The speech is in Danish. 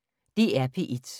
DR P1